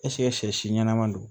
sɛ si ɲɛnama don